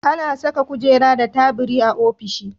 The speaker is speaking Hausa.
Ana Saka kujera da tabiri a ofishi